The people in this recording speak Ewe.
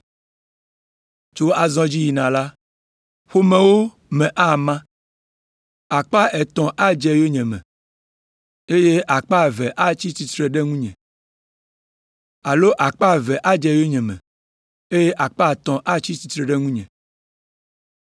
Tso azɔ dzi yina la, ƒomewo me ama, akpa etɔ̃ adze yonyeme, eye akpe eve atsi tsitre ɖe ŋunye. Alo akpa eve adze yonyeme, eye akpa etɔ̃ atsi tsitre ɖe ŋunye.